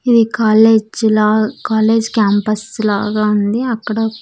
ఇది కాలేజ్ లా college campus లాగా ఉంది అక్కడ--